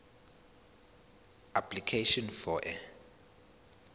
application for a